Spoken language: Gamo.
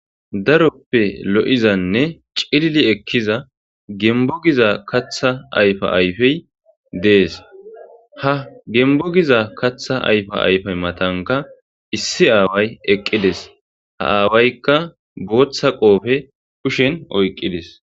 Daroppe lo7izanne cilili ekkiza gembbo giza kaththa ayfa ayfey dees ha gembbo giza kaththa ayfe matankka issi aaway eqqides ha aawayka bootha qoope oykkidi dees.